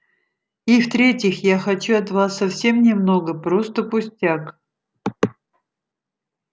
и в-третьих я хочу от вас совсем немного просто пустяк